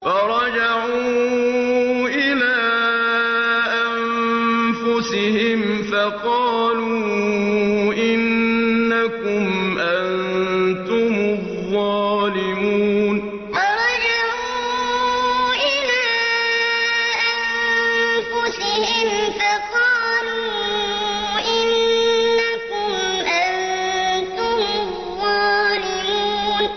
فَرَجَعُوا إِلَىٰ أَنفُسِهِمْ فَقَالُوا إِنَّكُمْ أَنتُمُ الظَّالِمُونَ فَرَجَعُوا إِلَىٰ أَنفُسِهِمْ فَقَالُوا إِنَّكُمْ أَنتُمُ الظَّالِمُونَ